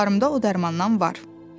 Xalalarımda o dərmandan var.